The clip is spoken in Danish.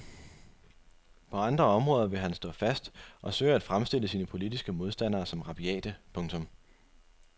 På andre områder vil han stå fast og søge at fremstille sine politiske modstandere som rabiate. punktum